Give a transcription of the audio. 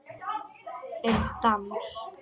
Um dans